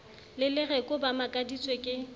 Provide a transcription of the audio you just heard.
le lereko ba makaditswe ke